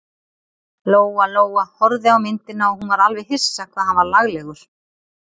Lóa-Lóa horfði á myndina og hún var alveg hissa hvað hann var laglegur.